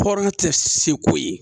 Tɔɔrɔ tɛ se ko ye